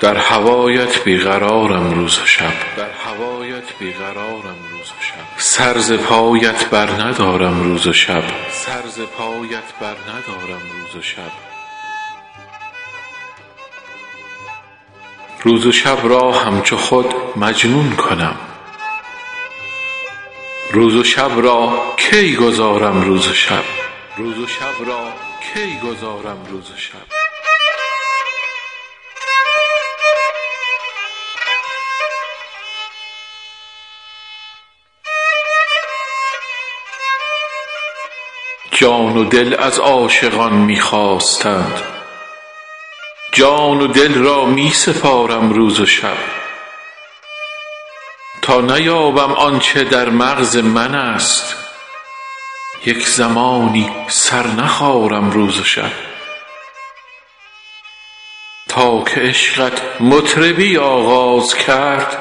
در هوایت بی قرارم روز و شب سر ز پایت برندارم روز و شب روز و شب را همچو خود مجنون کنم روز و شب را کی گذارم روز و شب جان و دل از عاشقان می خواستند جان و دل را می سپارم روز و شب تا نیابم آن چه در مغز منست یک زمانی سر نخارم روز و شب تا که عشقت مطربی آغاز کرد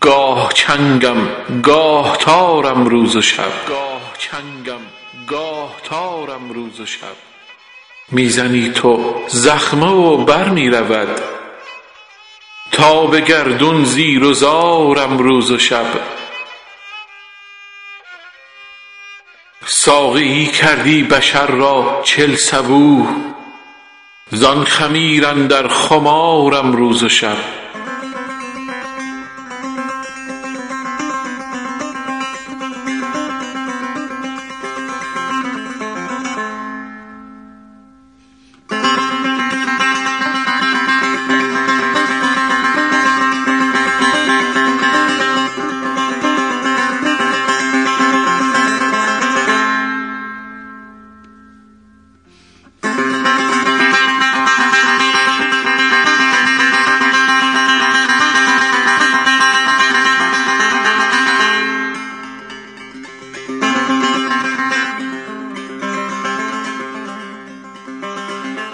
گاه چنگم گاه تارم روز و شب می زنی تو زخمه و بر می رود تا به گردون زیر و زارم روز و شب ساقیی کردی بشر را چل صبوح زان خمیر اندر خمارم روز و شب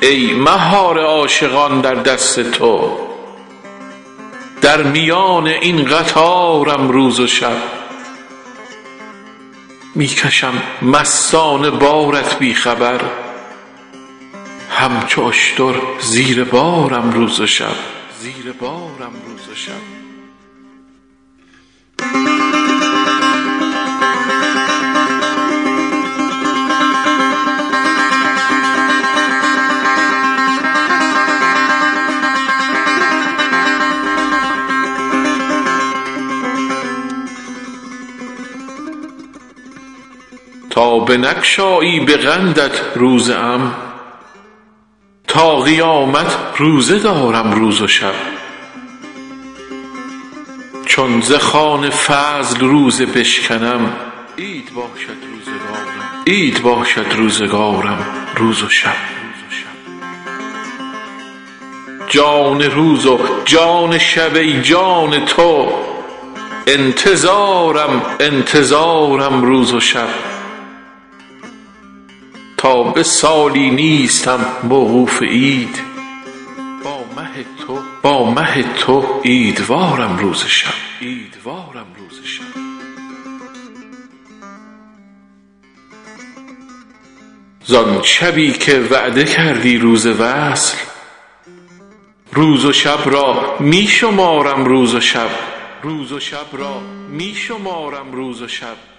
ای مهار عاشقان در دست تو در میان این قطارم روز و شب می کشم مستانه بارت بی خبر همچو اشتر زیر بارم روز و شب تا بنگشایی به قندت روزه ام تا قیامت روزه دارم روز و شب چون ز خوان فضل روزه بشکنم عید باشد روزگارم روز و شب جان روز و جان شب ای جان تو انتظارم انتظارم روز و شب تا به سالی نیستم موقوف عید با مه تو عیدوارم روز و شب زان شبی که وعده کردی روز وصل روز و شب را می شمارم روز و شب بس که کشت مهر جانم تشنه است ز ابر دیده اشکبارم روز و شب